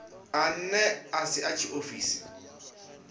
ane a si a tshiofisi